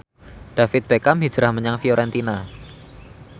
David Beckham hijrah menyang Fiorentina